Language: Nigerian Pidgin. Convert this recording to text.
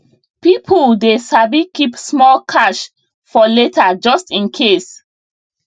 people dey sabi keep small cash for later just in case